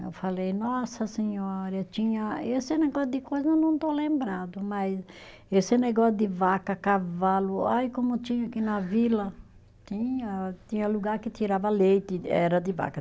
Eu falei, nossa senhora, tinha. Esse negócio de coisa eu não estou lembrada, mas esse negócio de vaca, cavalo, ai como tinha aqui na vila, tinha tinha lugar que tirava leite, era de vaca.